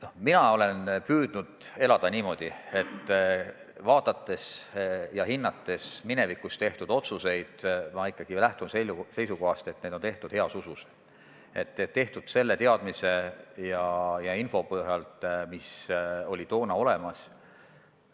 No mina olen püüdnud elada niimoodi, et vaadates ja hinnates minevikus tehtud otsuseid, lähtun ma ikkagi seisukohast, et need on tehtud heas usus, tehtud selle teadmise ja info põhjal, mis toona oli olemas.